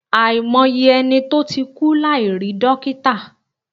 Àìmọye ẹni tó ti kú láì rí dọ́kítà.